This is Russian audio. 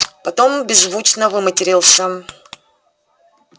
потом беззвучно выматерился